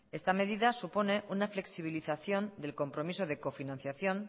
esta medida supone una flexibilización del compromiso de cofinanciación